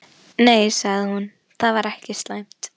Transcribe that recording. Nei, sagði hún, það væri ekki slæmt.